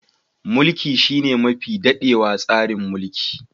Mulki shine mafi dadewa tsarin mulki.